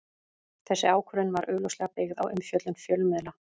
Þessi ákvörðun var augljóslega byggð á umfjöllun fjölmiðla.